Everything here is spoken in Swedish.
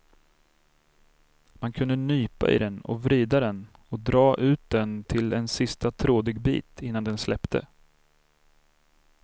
Man kunde nypa i den och vrida den och dra ut den till en sista trådig bit innan den släppte.